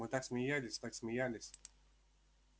мы так смеялись так смеялись